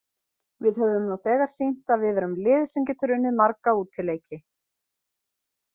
Við höfum nú þegar sýnt að við erum lið sem getur unnið marga útileiki.